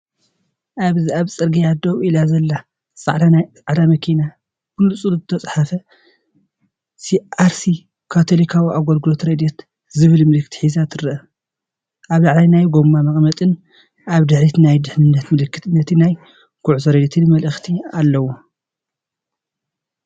ኣብዚ ኣብ ጽርግያ ደው ኢላ ዘላ ጻዕዳ ናይ መኪና ብንጹር ዝተጻሕፈ ሲኣርሲ -ካቶሊካዊ ኣገልግሎት ረድኤት’ ዝብል ምልክት ሒዛ ትርአ። ኣብ ላዕሊ ናይ ጎማ መቐመጢን ኣብ ድሕሪት ናይ ድሕነት ምልክትን ነቲ ናይ ጉዕዞን ረድኤትን መልእኽቲ ኣለዎ።